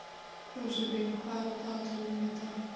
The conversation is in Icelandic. Jósefín, hvað er á dagatalinu í dag?